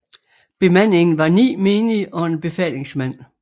Bemandingen var 9 menige og en befalingsmand